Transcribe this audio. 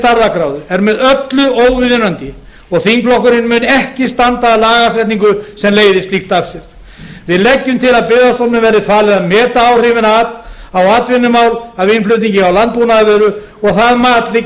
stærðargráðu eru með öllu óviðunandi og þingflokkurinn mun ekki standa að lagasetningu sem leiðir slíkt af sér við leggjum til að byggðastofnun verði falið að meta áhrifin á atvinnumál af innflutningi á landbúnaðarvöru og að það mat liggi